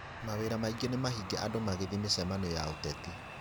Mawĩra maingĩ nĩmahinge andũ magĩthiĩ mĩcemanionĩ ya ũteti